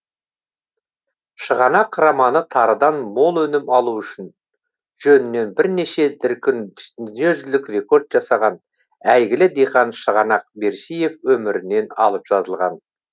шығанақ романы тарыдан мол өнім алу үшін жөнінен бірнеше дүркін дүниежүзілік рекорд жасаған әйгілі диқан шығанақ берсиев өмірінен алып жазылған